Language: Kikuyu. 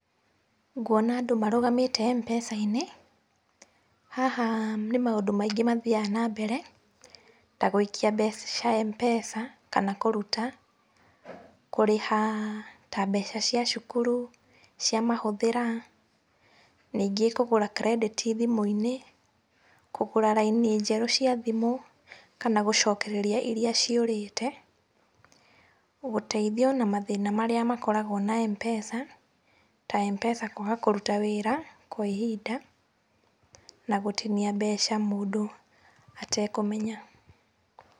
Nguona andũ marũgamĩte MPESA-inĩ. Haha nĩ maũndũ maingĩ mathiaga na mbere ta gũikia mbeca MPESA, kana kũruta, kũrĩha ta mbeca cia cukuru cia mahuthĩra ningĩ kũgũra kirendĩti thimũ-inĩ, kũgũra raini njerũ cia thimũ kana gũcokereria iria ciũrĩte, gũteithio na mathĩna marĩa makoragwo na MPESA, ta MPESA kwaga kũruta wĩra kwa ihinda na gũtinia mbeca mũndũ atekũmenya.